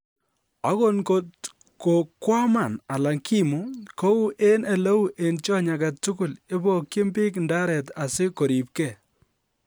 Ago ngot kokwaman alan kiimu, kou en oleu en tyony agetugul, ibokyin biik ndaret asi koripkee.